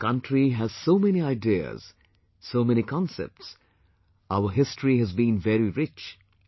Our country has so many ideas, so many concepts; our history has been very rich